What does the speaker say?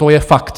To je fakt.